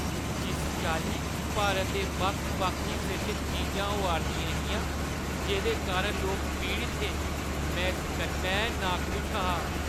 जिस चाल्ली भारत दे बक्ख-बक्ख हिस्सें च चीजां होआ 'रदियां हियां जेह्दे कारण लोक पीड़त हे, में इस कन्नै नाखुश हा ।